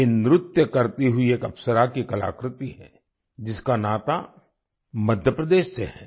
ये नृत्य करती हुई एक अप्सरा की कलाकृति है जिसका नाता मध्य प्रदेश से है